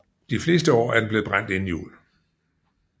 De fleste år er den blevet brændt inden jul